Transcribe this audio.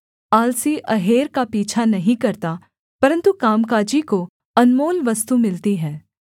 आलसी अहेर का पीछा नहीं करता परन्तु कामकाजी को अनमोल वस्तु मिलती है